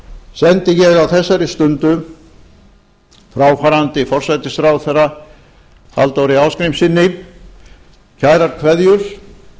sendi ég á þessari stundu fráfarandi forsætisráðherra halldóri ásgrímssyni kærar kveðjur